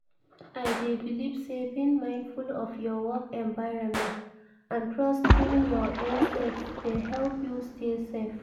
I dey believe say being mindful of your work environment and trusting your instincts dey help you stay safe.